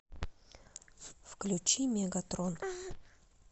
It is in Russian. включи мегатрон